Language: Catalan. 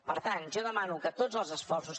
per tant jo demano que tots els esforços